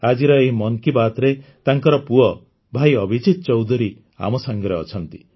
ଆଜିର ଏହି ମନ୍ କି ବାତ୍ରେ ତାଙ୍କର ପୁଅ ଭାଇ ଅଭିଜିତ ଚୌଧୁରୀ ଆମ ସାଙ୍ଗରେ ଅଛନ୍ତି